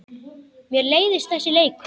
Mér leiðist þessi leikur.